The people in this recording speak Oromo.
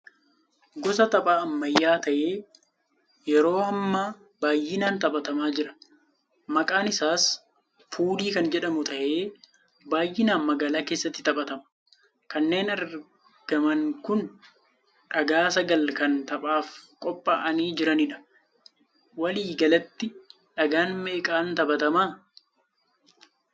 Gosa tapha ammayyaa tahee yeroo hammaa baayinaan taphatamaa jira. Maqaan isaa 'Puulii' kan jedhamu tahee baayinaan magaalaa keessatti taphatama. Kanneen argaman kun dhagaa sagal kan taphaaf qophaa'aanii jiraniidha. Walii galatti dhagaa meeqaan taphatamaa?